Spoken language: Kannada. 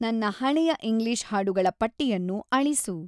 ನನ್ನ ಹಳೆಯ ಇಂಗ್ಲೀಷ್ ಹಾಡುಗಳ ಪಟ್ಟಿಯನ್ನು ಅಳಿಸು